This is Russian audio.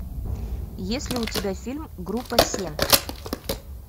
есть ли у тебя фильм группа семь